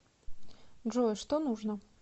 джой что нужно